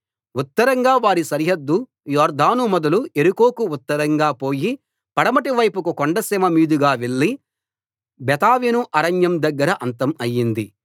ఉత్తరంగా వారి సరిహద్దు యొర్దాను మొదలు యెరికోకు ఉత్తరంగా పోయి పడమటి వైపుకు కొండసీమ మీదుగా వెళ్లి బేతావెను అరణ్యం దగ్గర అంతం అయింది